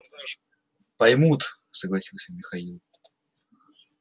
поймут согласился михаил